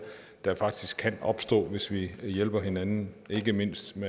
der faktisk kan opstå hvis vi hjælper hinanden ikke mindst